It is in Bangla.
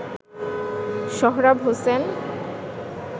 সোহরাব হোসেন